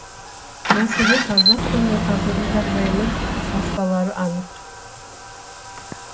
мәселе қазақ тілінің қазіргі жағдайынан басталары анық